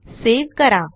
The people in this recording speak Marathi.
सावे करा